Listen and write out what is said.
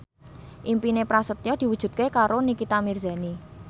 impine Prasetyo diwujudke karo Nikita Mirzani